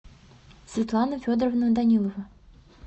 светлана федоровна данилова